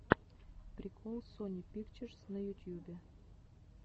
прикол сони пикчерз на ютьюбе